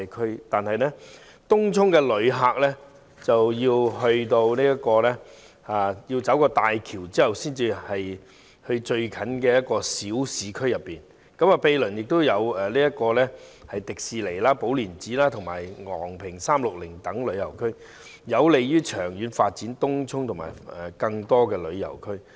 可是，前往東涌的旅客必須通過大橋才能到達最接近的小市區，毗鄰還有香港迪士尼樂園、寶蓮禪寺及昂坪360等旅遊景點，在在都有利於長遠發展東涌及更多旅遊區。